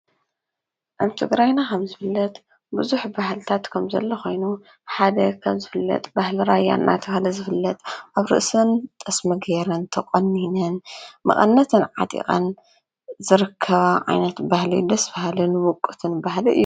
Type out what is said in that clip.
ኣብ ትግራይና ከም ዝፍለጥ ብዙሕ ባህልታት ከም ዘሎ ኮይኑ ሓደ ካብ ዝፍለጥ ባህሊ ራያ እናተብሃለ ዝፍለጥ ኣብ ርእሰን ጠስሚ ጌረን ተቆኒነን መቀነተን ዓጢቀን ዝርከባ ዓይነት ባህሊ ደስ በሃልን ውቁብን ባህሊ እዩ።